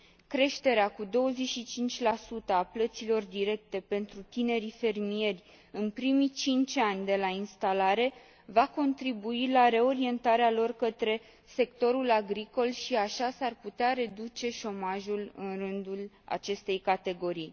Creșterea cu 25 a plăților directe pentru tinerii fermieri în primii cinci ani de la instalare va contribui la reorientarea lor către sectorul agricol și așa s ar putea reduce șomajul în rândul acestei categorii.